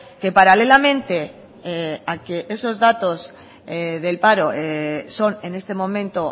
que paralelamente a que esos datos del paro son en este momento